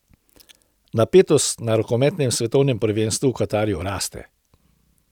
Napetost na rokometnem svetovnem prvenstvu v Katarju raste.